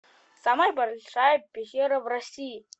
самая большая пещера в россии